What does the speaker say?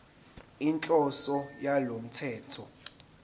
inhloso yalo mthetho